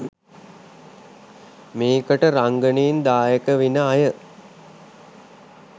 මේකට රංගනයෙන් දායක වෙන අය